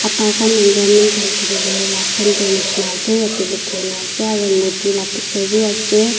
aadhar khan enrollment khan kuri bole la centre nishena ase yete likhi na ase aru modi la picture b ase.